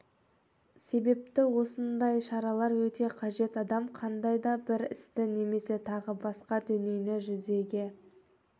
себепті осындай шаралар өте қажет адам қандай да бір істі немесе тағы басқа дүниені жүзеге